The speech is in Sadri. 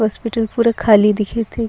हॉस्पिटल पूरा खाली दिखत है।